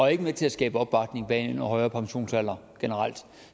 er ikke med til at skabe opbakning til en højere pensionsalder generelt